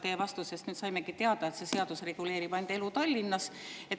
Teie vastusest saime teada, et see seadus reguleerib ainult elu Tallinnas.